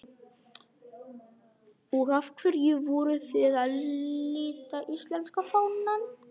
Hrund: Og af hverju voruð þið að lita íslenska fánann?